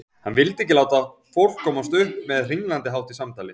Hann vildi ekki láta fólk komast upp með hringlandahátt í samtali.